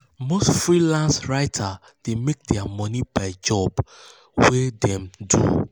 most freelance writers dey make their money per job wey wey dem do.